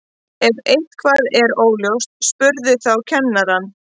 Ef eitthvað er óljóst spurðu þá kennarann.